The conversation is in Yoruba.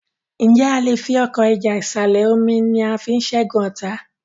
Nje a lẹ fí Ọkọ́ ìjà ìsàlẹ̀-omi ní a fí ṣẹgun ọta?